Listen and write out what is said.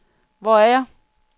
Hvor er jeg